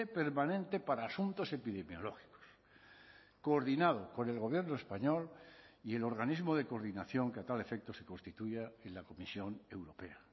permanente para asuntos epidemiológicos coordinado con el gobierno español y el organismo de coordinación que a tal efecto se constituya en la comisión europea